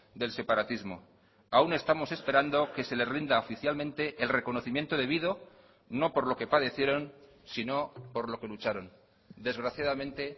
del separatismo aún estamos esperando que se le rinda oficialmente el reconocimiento debido no por lo que padecieron sino por lo que lucharon desgraciadamente